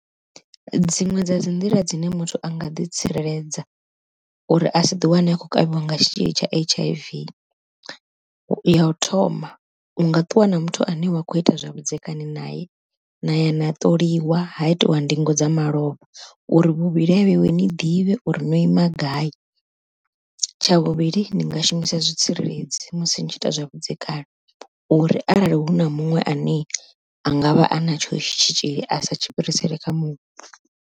Dziṅwe dza dzi nḓila dzine muthu anga ḓi tsireledza uri a si ḓi wane a khou kavhiwa nga tshitzhili tsha H_I_V, ya u thoma u nga ṱuwa na muthu ane wa kho ita zwavhudzekani naye na ya na ṱoliwa ha itiwa ndingo dza malofha uri vhuvhili ha vheiwe ni ḓivhe uri no ima gai, tsha vhuvhili ni nga shumisa zwitsireledzi musi ni tshi ita zwavhudzekani uri arali huna muṅwe ane a ngavha a na tsho tshitzhili a sa tshi fhirisele kha muṅwe.